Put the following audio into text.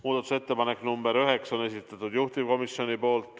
Muudatusettepanek nr 9, esitanud juhtivkomisjon.